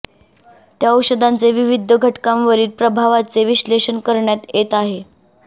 त्या औषधांचे विविध घटकांवरील प्रभावाचे विश्लेशषण करण्यात येत आहे